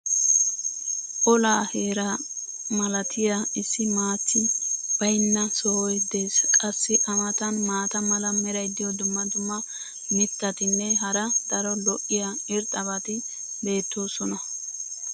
olaa heeraa malattiya issi maati baynna sohoy des. qassi a matan maata mala meray diyo dumma dumma mitatinne hara daro lo'iya irxxabati beettoosona.